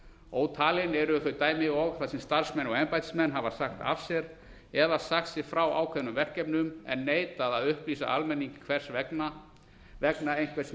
ótalin eru þau dæmi og þar sem starfsmenn og embættismenn hafa sagt af sér eða sagt sig frá ákveðnum verkefnum en neitað að upplýsa almenning hvers vegna vegna einhvers